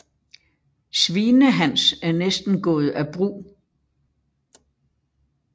Svinehans er næsten gået af brug